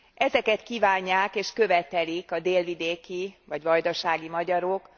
Ezeket kívánják és követelik a délvidéki vagy vajdasági magyarok.